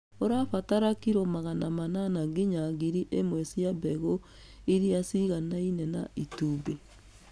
Ũrabatara kiro magana manana nginya ngiri ĩmwe cia mbegũ irĩa ciganaine na itumbĩ.